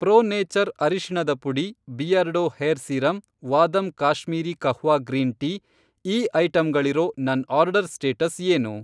Pro nature ಅರಿಶಿಣದ ಪುಡಿ Beardo hair serum Vahdam Kashmiri kahwa green tea ಈ ಐಟಂಗಳಿರೋ ನನ್ ಆರ್ಡರ್ ಸ್ಟೇಟಸ್ ಏನು?